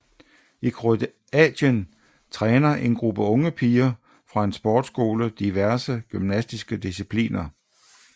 I Kroatien træner en gruppe unge piger fra en sportsskole diverse gymnastiske discipliner